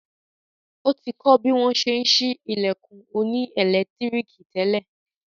Ó ti kọ̀ bí wọ́n n ṣe ṣí ilẹ̀kùn òní ẹ̀lẹ́tíríkì tẹ́lẹ̀